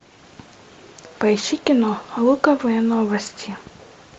поищи кино луковые новости